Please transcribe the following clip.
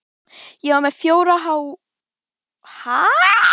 Ég var með fjóra háseta á Fram, allt dugnaðarmenn.